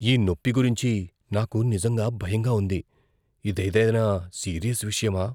ఈ నొప్పి గురించి నాకు నిజంగా భయంగా ఉంది. ఇదేదైనా సీరియస్ విషయమా?